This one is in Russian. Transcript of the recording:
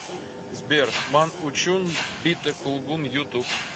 сбер ман учун битта кулгун ютуб